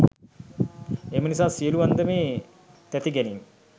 එම නිසා සියලු අන්දමේ තැතිගැනීම්,